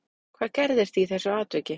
Hvað gerðist í þessu atviki